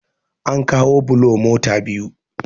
an kawo bulo mota biyu